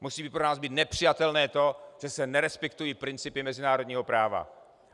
Musí pro nás být nepřijatelné to, že se nerespektují principy mezinárodního práva.